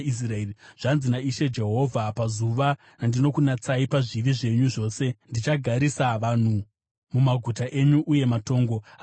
“ ‘Zvanzi naIshe Jehovha: Pazuva randinokunatsai pazvivi zvenyu zvose, ndichagarisa vanhu mumaguta enyu uye matongo achavakwazve.